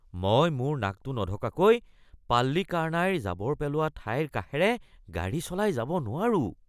মই মোৰ নাকটো নঢকাকৈ পাল্লিকাৰনাইৰ জাবৰ পেলোৱা ঠাইৰ কাষেৰে গাড়ী চলাই যাব নোৱাৰোঁ।